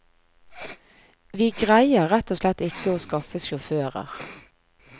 Vi greier rett og slett ikke å skaffe sjåfører.